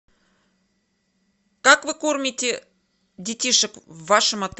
как вы кормите детишек в вашем